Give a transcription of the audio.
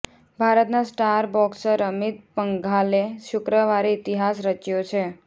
ભારતના star boxer Amit પંઘાલે શુક્રવારે ઈતિહાસ રચ્યો છે